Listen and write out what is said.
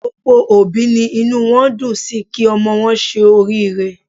Gbogbo òbí ni inú wọn dùn sí kí ọmọ wọn ṣe oriire.